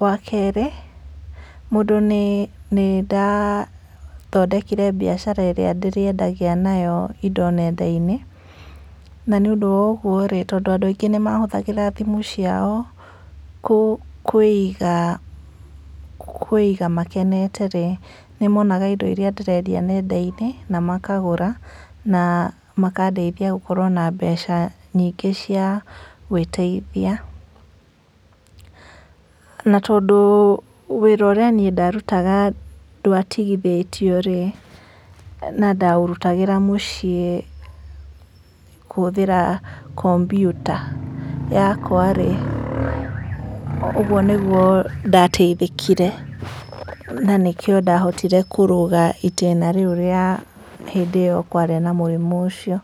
wakerĩ nĩndathondekire mbiacara ĩria ndĩrendagia nayo indo nendainĩ na nĩnũdũ wa ũguo rĩ, tondũ andũ maingĩ nĩmahũthagĩra thimũ ciao kũiga makenete rĩ, nĩmonaga indo irĩa ndĩrendia nendainĩ na makagũra na makadeithia gũkorwa na mbeca nyingĩ cia gwĩteithia na tondũ wĩra úũĩa ndarutaga ndĩatigithĩtwe rĩ na ndaũrutagĩra mũciĩ kũhũthĩra kompyuta yakwa rĩ ũguo niguo ndateithĩkire na nĩkĩo ndahotire kũrũga ĩtĩna rĩrĩa kwarĩ na mũrimũ ũcio.